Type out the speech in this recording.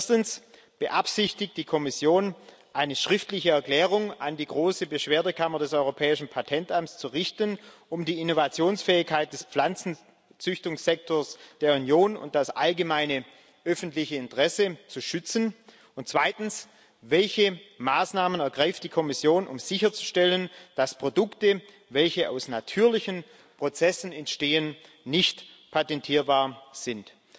Erstens Beabsichtigt die Kommission, eine schriftliche Erklärung an die große Beschwerdekammer des Europäischen Patentamts zu richten, um die Innovationsfähigkeit des Pflanzenzüchtungssektors der Union und das allgemeine öffentliche Interesse zu schützen? Und zweitens Welche Maßnahmen ergreift die Kommission, um sicherzustellen, dass Produkte, welche aus natürlichen Prozessen entstehen, nicht patentierbar sind?